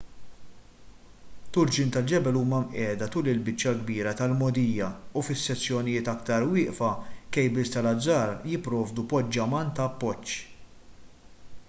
turġien tal-ġebel huma mqiegħda tul il-biċċa l-kbira tal-mogħdija u fis-sezzjonijiet aktar wieqfa kejbils tal-azzar jipprovdu poġġaman ta' appoġġ